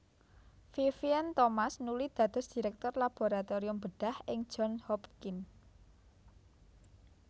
Vivien Thomas nuli dados Direktur Laboratorium Bedhah ing Johns Hopkins